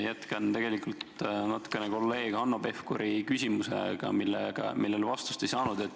Jätkan tegelikult natukene kolleeg Hanno Pevkuri küsimust, millele vastust ei saanud.